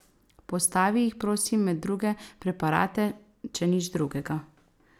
Postavi jih prosim med druge preparate, če nič drugega.